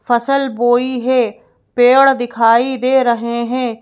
फसल बोई है पेड़ दिखाई दे रहे हैं।